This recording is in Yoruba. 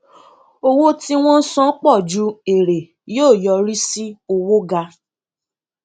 owó tí wọn san pọ ju èrè yóò yọrí sí owó ga